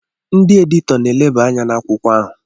Ndị editọ na-elebe anya n'akwụkwọ ahụ.